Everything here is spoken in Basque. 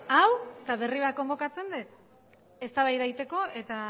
hau eta berri bat konbokatzen det eztabaida egiteko eta